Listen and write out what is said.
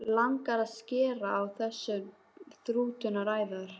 Langar að skera á þessar þrútnu æðar.